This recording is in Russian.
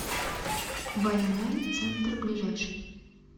байанай центр ближайший